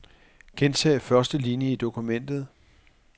Gentag første linie i dokumentet.